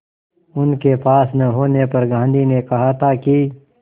उनके पास न होने पर गांधी ने कहा था कि